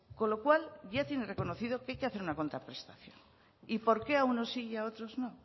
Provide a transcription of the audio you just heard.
con lo cual ya tiene reconocido que hay que hacer una contraprestación y por qué a unos sí y a otros no